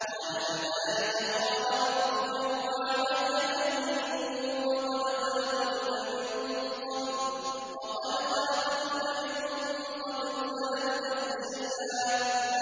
قَالَ كَذَٰلِكَ قَالَ رَبُّكَ هُوَ عَلَيَّ هَيِّنٌ وَقَدْ خَلَقْتُكَ مِن قَبْلُ وَلَمْ تَكُ شَيْئًا